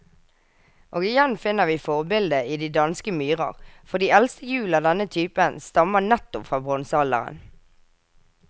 Og igjen finner vi forbildet i de danske myrer, for de eldste hjul av denne type stammer nettopp fra bronsealderen.